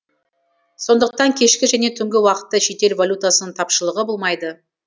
сондықтан кешкі және түнгі уақытта шетел валютасының тапшылығы болмайды